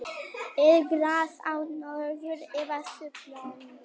er gras á norður eða suðurpólnum